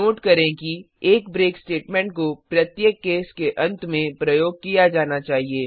note करें कि एक ब्रेक स्टेटमेंट को प्रत्येक केस के अंत में प्रयोग किया जाना चाहिए